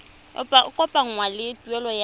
e kopanngwang le tuelo ya